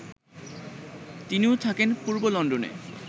তিনিও থাকেন পূর্ব লন্ডনে